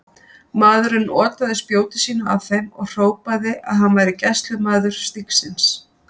Maðurinn otaði spjóti sínu að þeim og hrópaði að hann væri gæslumaður stígsins.